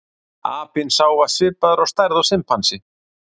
apinn sá var svipaður að stærð og simpansi